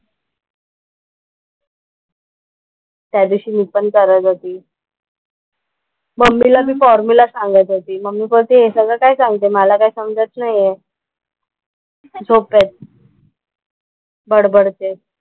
त्या दिवशी मी पण करत होती मम्मीला मी फॉर्मुला सांगत होती, मम्मी बोलते हे सगळं काय सांगते मला काही समजत नाही आहे. झोपेत बडबडतेय.